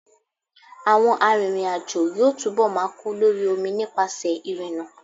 Àwọn arìnrìn-àjò yóò túnbọ̀ máa kú lórí omi nípasẹ̀ ìrìnnà.